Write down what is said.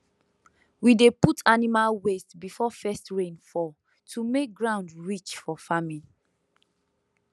we dey put animal waste before first rain fall to make ground rich for farming